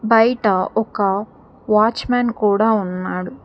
బయట ఒక వాచ్మెన్ కూడా ఉన్నాడు.